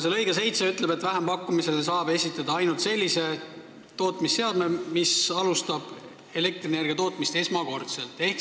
See lõige 7 ütleb, et vähempakkumisele saab esitada ainult sellise tootmisseadmega elektrienergia tootmise pakkumise, mis alustab elektrienergia esmakordset tootmist.